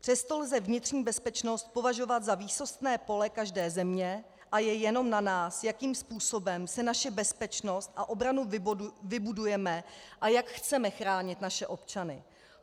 Přesto lze vnitřní bezpečnost považovat za výsostné pole každé země a je jenom na nás, jakým způsobem si naši bezpečnost a obranu vybudujeme a jak chceme chránit naše občany.